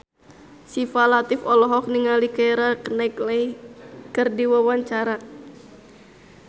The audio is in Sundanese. Syifa Latief olohok ningali Keira Knightley keur diwawancara